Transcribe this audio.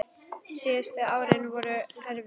Síðustu árin voru honum erfið.